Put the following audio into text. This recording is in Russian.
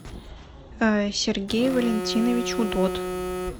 сергей валентинович удод